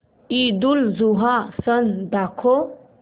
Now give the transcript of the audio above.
ईदउलजुहा सण दाखव